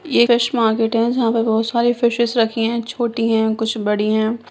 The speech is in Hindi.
ये फिश मार्किट है जहाँ पर बहुत सारे फिशेस रखी है छोटी है कुछ बड़ी है।